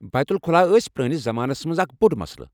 بیت الخلاء ٲسۍ پرٲنِس زمانَس مَنٛز اکھ بوٚڑ مسلہٕ۔